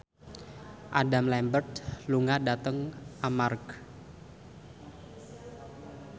Adam Lambert lunga dhateng Armargh